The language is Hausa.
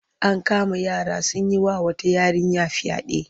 An kama yara sun yi wa wata yarinya fyaɗe.